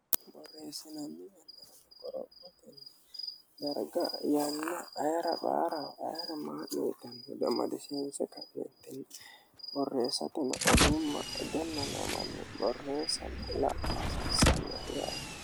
borreessananni yanna qorophotini darga yanna ayira mayiira maa ceetanni dimadiseense taettin borreessatini odumma idenna neemanni borreessanni la'asi issalno yaate.